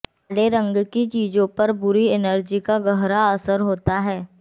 काले रंग की चीजों पर बुरी एनर्जी का गहरा असर होता है